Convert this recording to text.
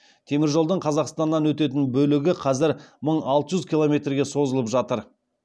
теміржолдың қазақстаннан өтетін бөлігі қазір мың алты жүз километрге созылып жатыр